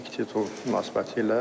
Kupa münasibəti ilə.